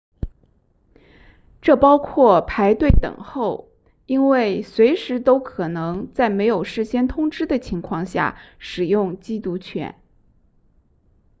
这包括排队等候因为随时都可能在没有事先通知的情况下使用缉毒犬